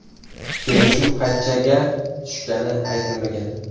Kelishuv qanchaga tushgani aytilmagan.